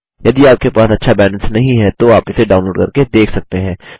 यदि आपके पास अच्छा बैंडविड्थ नहीं है तो आप इसे डाउनलोड करके देख सकते हैं